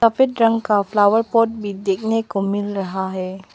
रंग का flower pot भी देखने को मिल रहा है।